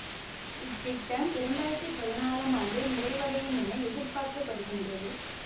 இத்திட்டம் இரண்டு ஆயிரத்தி பதினாறாம் ஆண்டு நிறைவடையும் என எதிர்ப்பார்க்கப்படுகின்றது